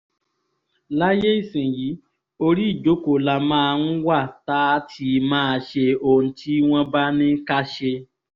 láyé ìsìnyìí orí ìjókòó la máa wá tá a ti máa ṣe ohun tí wọ́n bá ní ká ṣe